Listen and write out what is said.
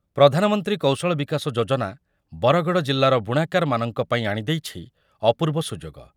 ପ୍ରଧାନମନ୍ତ୍ରୀ କୌଶଳ ବିକାଶ ଯୋଜନା ବରଗଡ଼ ଜିଲ୍ଲାର ବୁଣାକାରମାନଙ୍କ ପାଇଁ ଆଣିଦେଇଛି ଅପୂର୍ବ ସୁଯୋଗ ।